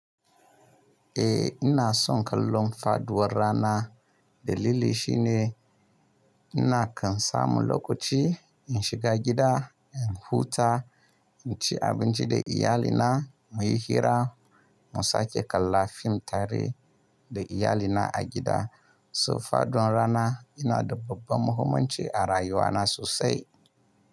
Eh ina son kallon faduwan rana. Dalili shine ina kan samu lokaci in shiga gida, in huta, in ci abinci da iyalina, mu yi hira, mu sake kalla fim tare da iyalina a gida. So faduwan rana yana da babban muhimmanci a rayuwana sosai.